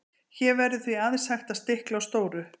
hér verður því aðeins hægt að stikla á stóru